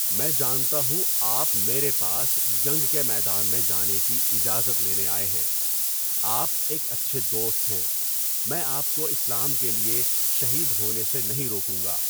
میں جانتا ہوں آپ میرے پاس جنگ کے میدان میں جانے کی اجازت لینے آئے ہیں۔ آپ ایک اچھے دوست ہیں۔ میں آپ کو اسلام کے لیے شہید ہونے سے نہیں روکوں گا۔